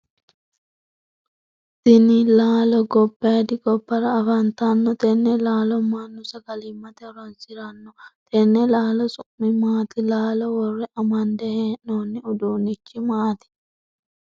Tinni laallo gobayidi gobara afantanno tenne laallo mannu sagalimate horoonsirano tenne laallo su'mi maati? Laallo wore amande hee'noonni uduunichi maati?